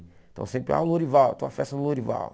Então sempre, ah, o Lourival, tem uma festa no Lourival.